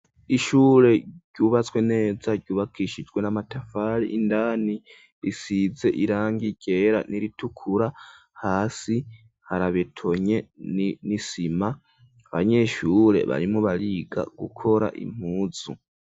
ishure ryubatswe neza ryubakishijwe n'amatafari indani risize irangi ryera n,iritukura hasi harabetonye n,isima, abanyeshure barimwo bariga gukora impuzu.